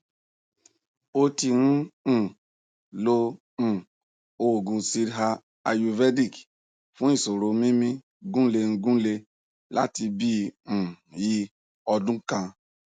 ó ti ń um lo um òògùn siddha ayurvedic fún ìṣòro mímí gúlengúle láti bí um i ọdún kan